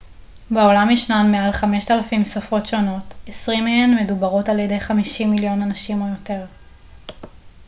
בעולם ישנן מעל 5,000 שפות שונות 20 מהן מדוברות על ידי 50 מיליון אנשים או יותר